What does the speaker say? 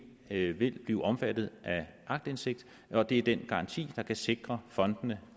vil vil blive omfattet af aktindsigt og det er den garanti der kan sikre fondene